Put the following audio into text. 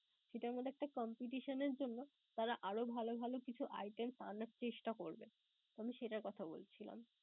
সেটার মধ্যে একটা competition এর জন্য তারা আরও ভালো ভালো কিছু items আনার চেষ্টা করবে. আমি সেটার কথা বলছিলাম.